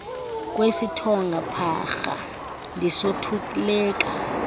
kwesithonga pharha ndisothuleka